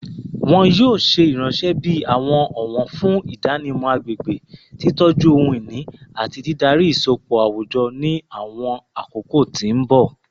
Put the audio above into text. Wọn yoo ṣe iranṣẹ bi awọn ọwọn fun idanimọ agbegbe, titọju ohun-ini, ati didari isọpọ awujọ ni awọn akoko ti mbọ